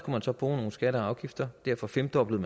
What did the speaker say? man så bruge nogle skatter og afgifter og derfor femdoblede